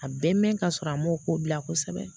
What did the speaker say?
A bɛ mɛn ka sɔrɔ a m'o ko bila kosɛbɛ